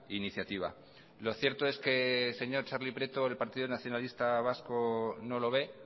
iniciativa lo cierto es que señor txarli prieto el partido nacionalista vasco no lo ve